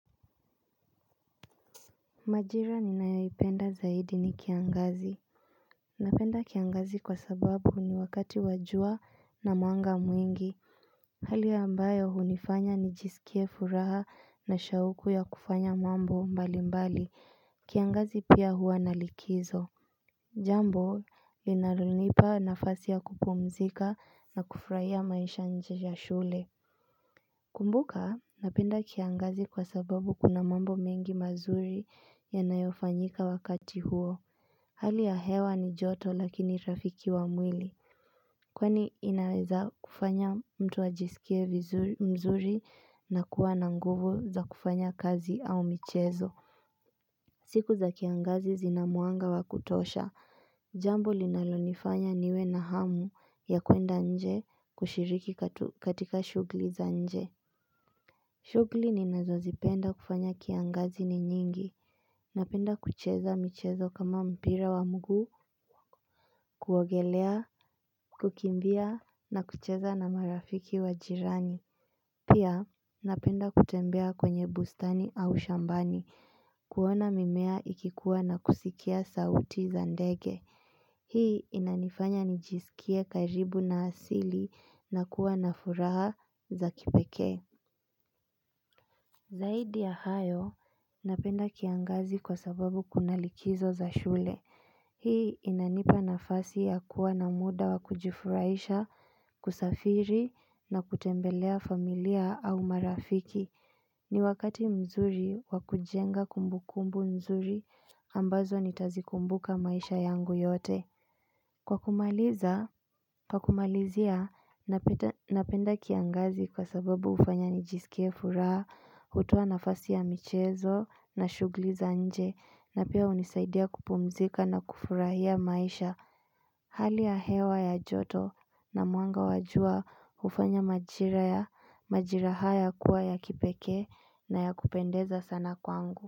Majira ninayoipenda zaidi ni kiangazi. Napenda kiangazi kwa sababu ni wakati wa jua na mwanga mwingi. Hali ambayo hunifanya nijisikie furaha na shauku ya kufanya mambo mbalimbali, kiangazi pia hua na likizo Jambo inalonipa nafasi ya kupumzika na kufurahia maisha nje ya shule. Kumbuka napenda kiangazi kwa sababu kuna mambo mengi mazuri yanayofanyika wakati huo. Hali ya hewa ni joto lakini rafiki wa mwili. Kwani inaweza kufanya mtu ajisikie mzuri na kuwa na nguvu za kufanya kazi au michezo. Siku za kiangazi zina mwanga wa kutosha. Jambo linalonifanya niwe na hamu ya kuenda nje kushiriki katika shughuli za nje. Shughuli ninazozipenda kufanya kiangazi ni nyingi. Napenda kucheza michezo kama mpira wa mguu, kuogelea, kukimbia na kucheza na marafiki wa jirani. Pia napenda kutembea kwenye bustani au shambani. Kuona mimea ikikuwa na kusikia sauti za ndege. Hii inanifanya nijisikie karibu na asili na kuwa na furaha za kipekee. Zaidi ya hayo, napenda kiangazi kwa sababu kuna likizo za shule. Hii inanipa nafasi ya kuwa na muda wa kujifurahisha, kusafiri na kutembelea familia au marafiki. Ni wakati mzuri wa kujenga kumbukumbu nzuri ambazo nitazikumbuka maisha yangu yote. Kwa kumalizia napenda kiangazi kwa sababu hufanya nijisikie furaha, hutoa nafasi ya michezo na shughuli za nje na pia hunisaidia kupumzika na kufurahia maisha Hali ya hewa ya joto na mwanga wa jua hufanya majira haya kuwa ya kipekee. Na ya kupendeza sana kwangu.